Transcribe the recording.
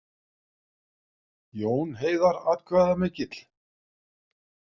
Jón Heiðar atkvæðamikill